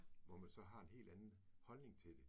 Hvor man så har en helt anden holdning til det